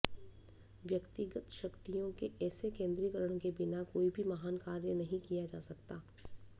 व्यक्तिगत शक्तियों के ऐसे केंद्रीकरण के बिना कोई भी महान कार्य नहीं किया जा सकता